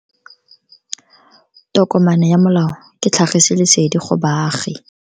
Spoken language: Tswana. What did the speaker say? Tokomane ya molao ke tlhagisi lesedi go baagi.